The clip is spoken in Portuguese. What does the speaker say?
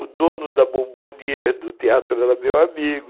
O dono da Bombonier do teatro era meu amigo.